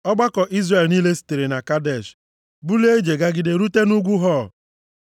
Ọgbakọ Izrel niile sitere na Kadesh bulie ije gagide rute nʼugwu Hor.